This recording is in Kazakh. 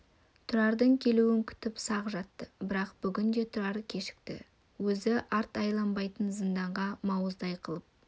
тұрардың келуін күтіп сақ жатты бірақ бүгін де тұрар кешікті өзі арт айланбайтын зынданға мауыздай қылып